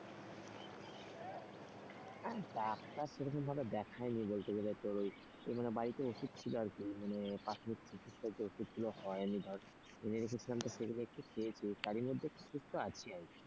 আরে ডাক্তার সেরকম ভাবে দেখাইনি বলতে গেলে তোর ওই মানে বাড়িতে ওষুধ ছিল আরকি মানে প্রাথমিক চিকিত্সার যে ওষুধ গুলো হয় এনে রেখেছিলাম তো সেগুলো একটু খেয়েছি, তারই মধ্যে একটু সুস্ত আছি আরকি।